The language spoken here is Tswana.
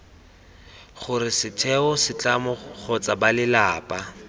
gore setheo setlamo kgotsa balelapa